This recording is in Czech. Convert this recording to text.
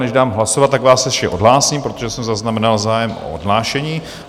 Než dám hlasovat, tak vás ještě odhlásím, protože jsem zaznamenal zájem o odhlášení.